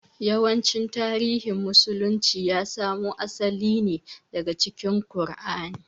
Yawancin tarihin musulunci ya samo asali ne daga cikin ƙur'ani